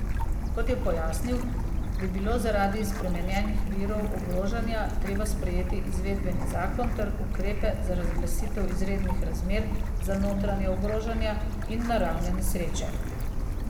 Kot je pojasnil, bi bilo zaradi spremenjenih virov ogrožanja treba sprejeti izvedbeni zakon ter ukrepe za razglasitev izrednih razmer za notranja ogrožanja in naravne nesreče.